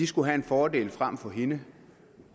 skal have en fordel frem for hende